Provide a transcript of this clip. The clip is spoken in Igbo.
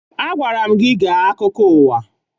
Agwara m gị gee akụkọ ụwa!